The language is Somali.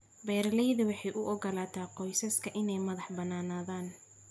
Beeraleydu waxay u ogolaataa qoysaska inay madax bannaanaadaan.